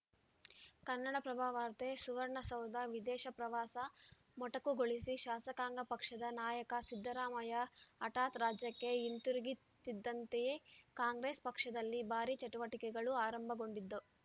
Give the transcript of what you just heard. ಕನ್ನಡಪ್ರಭ ವಾರ್ತೆ ಸುವರ್ಣಸೌಧ ವಿದೇಶ ಪ್ರವಾಸ ಮೊಟಕುಗೊಳಿಸಿ ಶಾಸಕಾಂಗ ಪಕ್ಷದ ನಾಯಕ ಸಿದ್ದರಾಮಯ್ಯ ಹಠಾತ್‌ ರಾಜ್ಯಕ್ಕೆ ಹಿಂತಿರುಗುತ್ತಿದ್ದಂತೆಯೇ ಕಾಂಗ್ರೆಸ್‌ ಪಕ್ಷದಲ್ಲಿ ಭಾರಿ ಚಟುವಟಿಕೆಗಳು ಆರಂಭಗೊಂಡಿದ್ದು